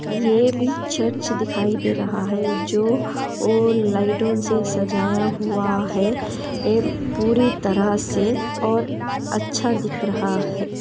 ये भी चर्च दिखाई दे रहा है | जो ओ लाइटो से सजाया हुआ है ये पूरी तरह से और आचायी दिक् रहा हे |